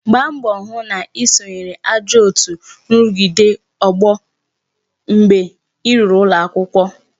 Gbaa mbọ hụ na I sonyere ajọ otu nrugide ọgbọ mgbe I ruru ụlọ akwụkwọ